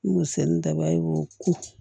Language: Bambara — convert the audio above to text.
N ko sɛnnin dabali ko